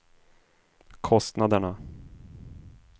kostnaderna